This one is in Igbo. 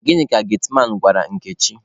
Gịnị ka getiman gwara Nkechi?